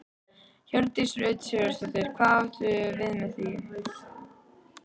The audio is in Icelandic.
Hjördís Rut Sigurjónsdóttir: Hvað áttu við með því?